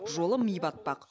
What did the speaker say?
жолы ми батпақ